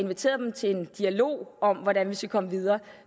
inviteret dem til en dialog om hvordan vi skal komme videre